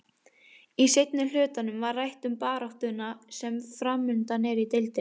Í seinni hlutanum var rætt um baráttuna sem framundan er í deildinni.